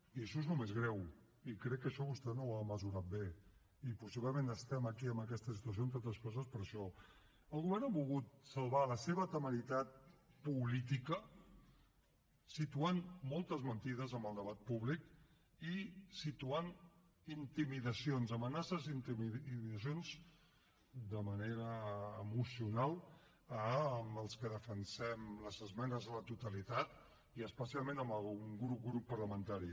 i això és el més greu i crec que això vostè no ho ha mesurat bé i possiblement estem aquí en aquesta situació entre altres coses per això el govern ha volgut salvar la seva temeritat política situant moltes mentides en el debat públic i situant intimidacions amenaces i intimidacions de manera emocional als que defensem les esmenes a la totalitat i especialment a algun grup parlamentari